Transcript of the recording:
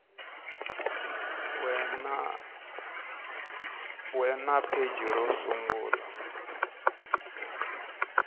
we na pheji ro sungula